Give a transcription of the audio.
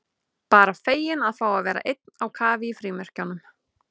Bara feginn að fá að vera einn á kafi í frímerkjunum.